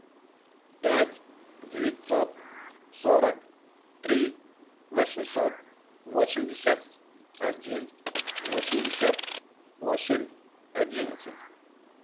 пять девятьсот сорок три восемьсот восемьдесят один восемьдесят восемь одиннадцать